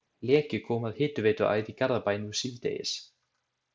Leki kom að hitaveituæð í Garðabæ nú síðdegis.